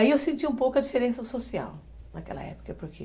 Aí eu senti um pouco a diferença social naquela época, porque...